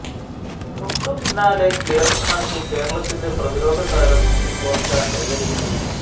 തൊട്ടുപിന്നാാലെ clearance നടത്തി കേരളത്തിന്റെ പ്രതിരോധ താരം കോസ്റ്റ കയ്യടി നേടി